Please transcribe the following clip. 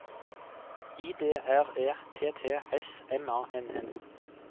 I D R E T T S M A N N